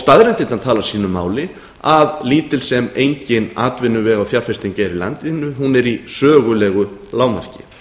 staðreyndirnar tala sínu máli að lítil sem engin atvinnuvega og fjárfesting er í landinu er í sögulegu lágmarki